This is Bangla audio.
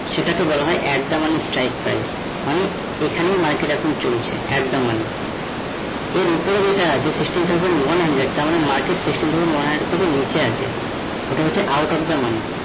সেটাকে বলা হয়ে at the money strike price মানে এখানে market এখন চলছে, at the money ওর উপরে যেটা আছে sixteen thousand one hundred তার মানে sixteen thousand one hundred থেকে নিচে আছে এটা হচ্ছে out of the money